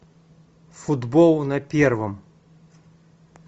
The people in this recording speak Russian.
футбол на первом